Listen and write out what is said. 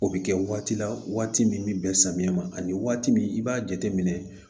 O bɛ kɛ waati la waati min bɛ bɛn samiyɛ ma ani waati min i b'a jateminɛ